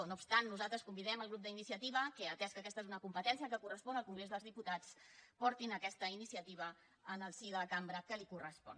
no obstant això nosaltres convidem el grup d’iniciativa que atès que aquesta és una competència que correspon al congrés dels diputats portin aquesta iniciativa al si de la cambra a qui correspon